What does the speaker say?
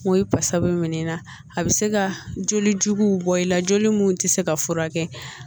O ye pasa bɛ minɛ na a bɛ se ka joli jugu bɔ i la joli mun tɛ se ka furakɛ